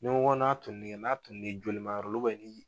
Ni n ko n'a toli n'a toli l'i joli ma yɔrɔ la